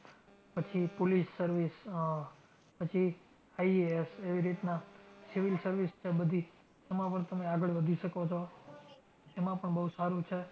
પછી police service આહ પછી IAS, એવી રીતના civil service છે બધી એમાં પણ તમે આગળ વધી શકો છો. એમાં પણ બૌ સારું છે.